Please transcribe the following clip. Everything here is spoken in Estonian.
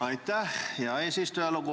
Aitäh, hea eesistuja!